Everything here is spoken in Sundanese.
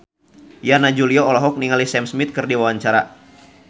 Yana Julio olohok ningali Sam Smith keur diwawancara